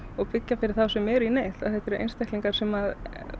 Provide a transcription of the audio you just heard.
og byggja fyrir þá sem eru í neyð því þetta eru einstaklingar sem